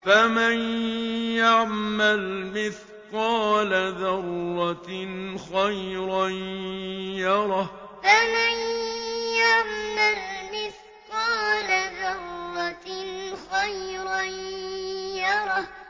فَمَن يَعْمَلْ مِثْقَالَ ذَرَّةٍ خَيْرًا يَرَهُ فَمَن يَعْمَلْ مِثْقَالَ ذَرَّةٍ خَيْرًا يَرَهُ